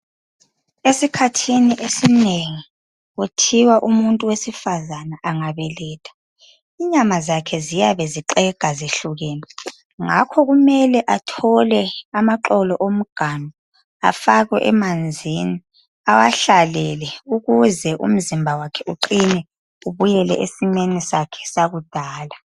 Esikhathini esinengi kuthiwa umuntu wesifazana angabeletha, inyama zakhe ziyabe zixega zehlukene, ngakho kummele athole amaxolo omganu afakwe emanzini, awahlalele ukuze umzimba wakhe uqine ubuyele esimeni sakhe sakudala.